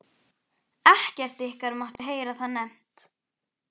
ekkert ykkar mátti heyra það nefnt!